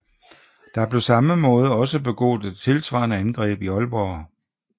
Der blev samme måned også begået et tilsvarende angreb i Ålborg